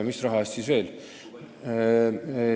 Mis raha eest siis veel?